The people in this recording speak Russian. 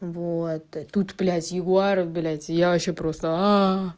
вот тут блядь ягуаров блядь я вообще просто а